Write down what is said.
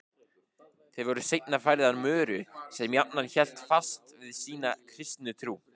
Þær voru seinna færðar Möru sem jafnan hélt fast við sína kristnu trú.